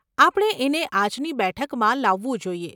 આપણે એને આજની બેઠકમાં લાવવું જોઈએ.